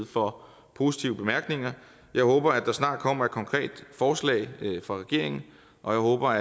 for positive bemærkninger jeg håber der snart kommer et konkret forslag fra regeringen og jeg håber